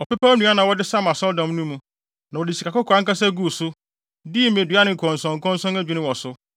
Ɔpepaw nnua na wɔde sam Asɔredan no mu, na wɔde sikakɔkɔɔ ankasa guu so, dii mmedua ne nkɔnsɔnkɔnsɔn adwinni wɔ so.